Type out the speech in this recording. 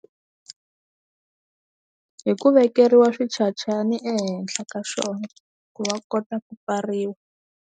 Hi ku vekeriwa switshatshani ehenhla ka swona ku va kota ku pfariwa.